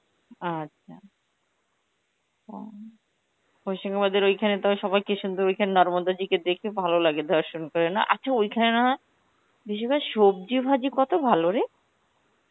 আচ্ছা হশিমাবাদের ওইখানে তো আবার সবাই কি সুন্দর ওইখানে নার্বন্দাজিকে দেখে ভালো লাগে দর্শন করে না, আচ্ছা ওইখানে না হয় বিশেষ করে সবজি ভাজি কত ভালো রে.